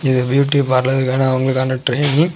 இது பியூட்டி பார்லருக்கான அவங்களுக்கான ட்ரெயினிங் .